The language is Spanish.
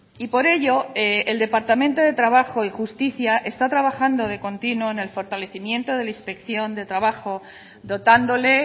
y por ello el departamento de trabajo y justicia está trabajando de continuo en el fortalecimiento de la inspección de trabajo dotándole